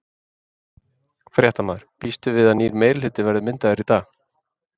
Fréttamaður: Býstu við að nýr meirihluti verði myndaður í dag?